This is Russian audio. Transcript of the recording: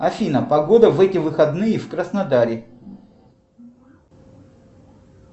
афина погода в эти выходные в краснодаре